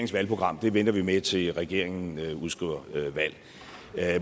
valgprogram venter vi med til regeringen udskriver valg